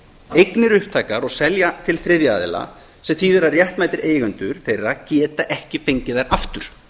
eignir upptækar og selja til þriðja aðila sem þýðir að réttmætir eigendur þeirra geta ekki fengið þær aftur